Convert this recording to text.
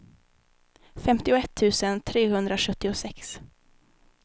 femtioett tusen trehundrasjuttiosex